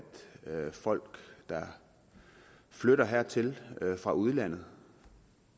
at folk der flytter hertil fra udlandet